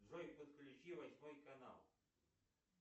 джой подключи восьмой канал